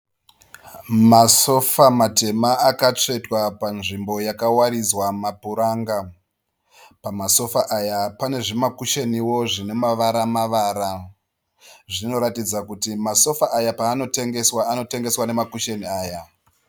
Masofa matema akatsvetwa panzvimbo yakawaridzwa mapuranga. Masofa aya pane zvimakushenio zvine mavara mavara. Zvinoratidza kuti masofa aya paanotengeswa anotengeswa nema kusheni aya.